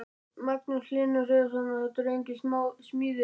Magnús Hlynur Hreiðarsson: Og þetta eru engin smá smíði?